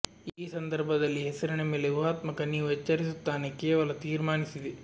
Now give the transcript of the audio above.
ಈ ಸಂದರ್ಭದಲ್ಲಿ ಹೆಸರಿನ ಮೇಲೆ ಉಹಾತ್ಮಕ ನೀವು ಎಚ್ಚರಿಸುತ್ತಾನೆ ಕೇವಲ ತೀರ್ಮಾನಿಸಿದೆ